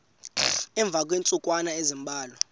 emva kweentsukwana ezimbalwa